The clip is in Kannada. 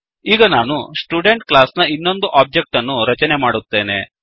ಈಗ ನಾನು ಸ್ಟುಡೆಂಟ್ ಕ್ಲಾಸ್ ನ ಇನ್ನೊಂದು ಒಬ್ಜೆಕ್ಟ್ ಅನ್ನು ರಚನೆ ಮಾಡುತ್ತೇನೆ